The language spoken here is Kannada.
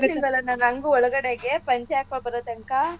ನನ್ಗೂ ಒಳಗಡೆಗೆ ಪಂಚೆ ಹಾಕ್ಕೋಬಾರೋತಂಕ.